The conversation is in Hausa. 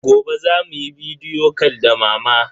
Gobe za mu yi bidiyo cal da mama.